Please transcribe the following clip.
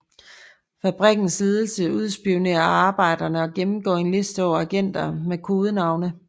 Fabrikkens ledelse udspionerer arbejderne og gennemgår en liste over agenter med kodenavne